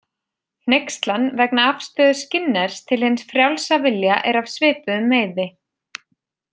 Hneykslan vegna afstöðu Skinners til hins frjálsa vilja er af svipuðum meiði.